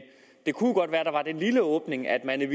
det kunne jo godt være at der var den lille åbning at man